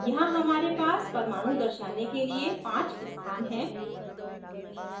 यहाँ हमारे पास परमाणु दर्शाने के लिए 5 स्थान हैं